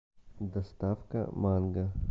доставка манго